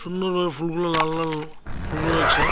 ফুলগুলো লাল লাল ফুল রয়েছে।